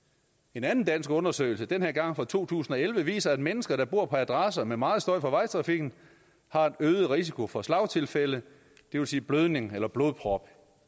en anden dansk undersøgelse den her gang fra to tusind og elleve viser at mennesker der bor på adresser med meget støj fra vejtrafikken har en øget risiko for slagtilfælde det vil sige blødning eller blodprop